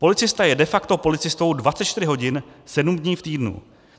Policista je de facto policistou 24 hodin sedm dní v týdnu.